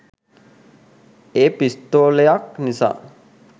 ඒ පිස්තෝලයක් නිසා